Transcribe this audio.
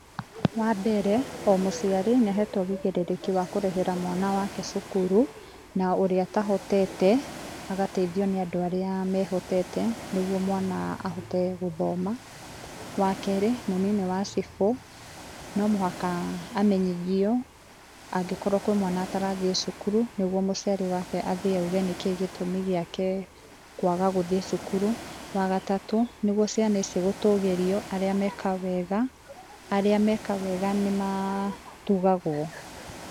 Wa mbere, o mũciari nĩ ahetwo ũigĩrĩrĩki wa kũrĩhĩra mwana wake cukuru, na ũrĩa atahotete agataithio nĩ andũ arĩa mehotete nĩguo mwana ahote gũthoma. Wa kerĩ, mũnini wa cibũ, no mũhaka amenyithio angĩkorwo kwĩ mwana atarathiĩ cukuru, nĩguo mũciari wake athiĩ auge nĩkĩĩ gĩtũmi gĩake kwaga gũthiĩ cukuru. Wa gatatũ, nĩguo ciana ici gũtũgĩrio, arĩa meka wega, arĩa meka wega nĩ ma tugagwo.